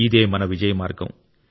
ఇదే మన విజయ మార్గం